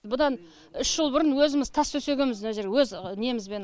бұдан үш жыл бұрын өзіміз тас төсегенбіз мына жерге өз немізбен